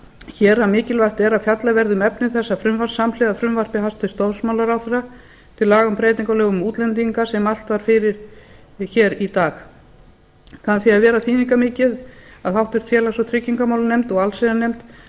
hér að mikilvægt er að fjallað verði um efni þessa frumvarps samhliða frumvarpi hæstvirts dómsmálaráðherra til laga um breytingu á lögum um útlendinga sem mælt var fyrir í dag kann því að vera þýðingarmikið að háttvirtur félags og tryggingamálanefnd og allsherjarnefnd